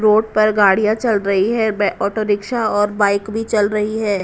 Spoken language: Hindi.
रोड पर गाड़ियां चल रही हैं बे ऑटो रिक्शा और बाइक भी चल रही है।